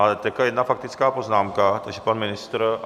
Ale teď jedna faktická poznámka, takže pan ministr.